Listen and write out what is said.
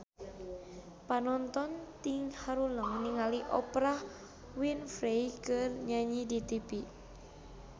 Panonton ting haruleng ningali Oprah Winfrey keur nyanyi di tipi